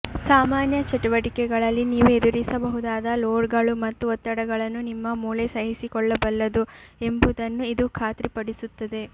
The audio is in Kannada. ಸಾಮಾನ್ಯ ಚಟುವಟಿಕೆಗಳಲ್ಲಿ ನೀವು ಎದುರಿಸಬಹುದಾದ ಲೋಡ್ಗಳು ಮತ್ತು ಒತ್ತಡಗಳನ್ನು ನಿಮ್ಮ ಮೂಳೆ ಸಹಿಸಿಕೊಳ್ಳಬಲ್ಲದು ಎಂಬುದನ್ನು ಇದು ಖಾತ್ರಿಪಡಿಸುತ್ತದೆ